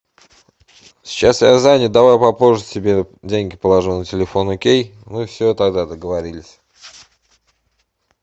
сейчас я занят давай попозже тебе деньги положу на телефон окей ну все тогда договорились